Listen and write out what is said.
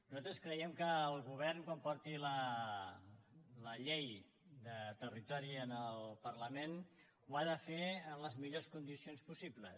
nosaltres creiem que el govern quan porti la llei de territori al parlament ho ha de fer en les millors condicions possibles